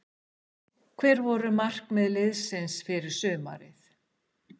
Hver voru markmið liðsins fyrir sumarið?